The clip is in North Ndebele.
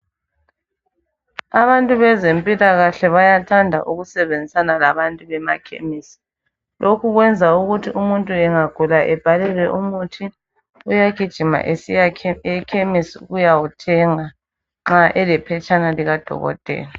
Abantu bezempilakahle bayathanda ukusebenzisana labantu bemakhemisi. Lokhu kwenza ukuthi umuntu engagula ebhalelwe umuthi uyagijima esiya ekhemisi ukuyawuthenga nxa elephetshana likadokotela